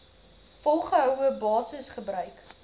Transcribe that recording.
volgehoue basis gebruik